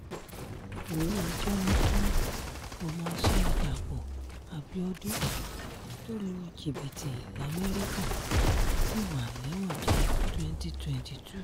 ilé-ẹjọ́ ní kí ọmọọṣẹ́ dàpọ̀ abiodun tó lu jìbìtì lamẹ́ríkà ṣì wà lẹ́wọ̀n di 2022